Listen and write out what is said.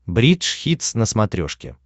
бридж хитс на смотрешке